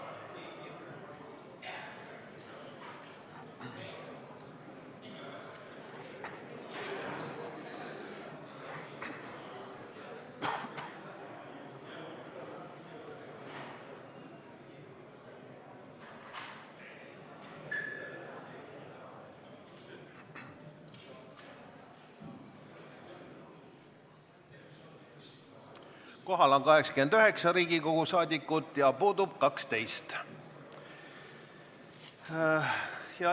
Kohaloleku kontroll Kohal on 89 Riigikogu liiget ja puudub 12.